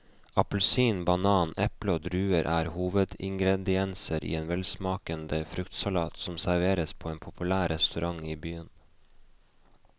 Appelsin, banan, eple og druer er hovedingredienser i en velsmakende fruktsalat som serveres på en populær restaurant i byen.